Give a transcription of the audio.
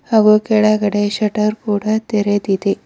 ಹಾಗೂ ಕೆಳಗಡೆ ಶಟರ್ ಕೂಡ ತೆರೆದಿದೆ.